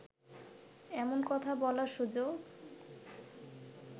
এমন কথা বলার সুযোগ